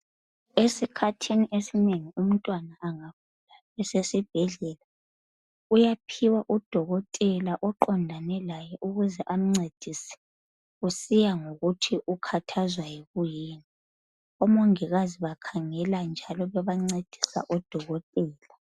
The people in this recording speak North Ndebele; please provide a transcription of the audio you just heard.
Esikhathini esinengi umntwana angagula esesibhedlela uyaphiwa udokotela oqondane laye ukuze amncedise. Kusiya ngokuthi ukhathazwa yikuyini. Omongikazi bakhangela njalo bebancedisa odokotela.